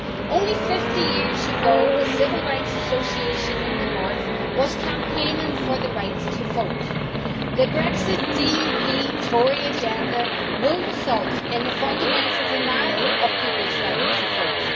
Only 50 years ago, the Civil Rights Association in the North was campaigning for the right to vote. The Brexit DUP Tory agenda will result in the fundamental denial of people's right to vote.